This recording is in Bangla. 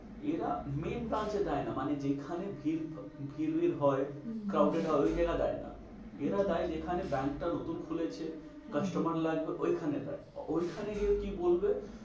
এরা main branch এ দেয় না। মানে যেখানে ভিড় ভিড় হয় হম হম crowd হবে ওই জায়গায় দেয় না। আচ্ছা এরা দেয় যেখানে ব্যাঙ্ক টা নতুন খুলেছে, হ্যাঁ হ্যাঁ customer লাগবে ওইখানে দেয়। ওইখানে গিয়েও কি বলবে